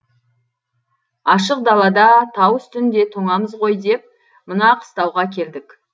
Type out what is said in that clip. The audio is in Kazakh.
ашық далада тау үстінде тоңамыз ғой деп мына қыстауға келдік